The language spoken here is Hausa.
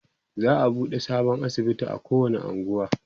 za'a buɗe sabon asibiti a kowani unguwa